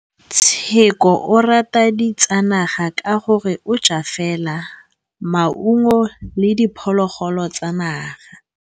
Tshekô o rata ditsanaga ka gore o ja fela maungo le diphologolo tsa naga.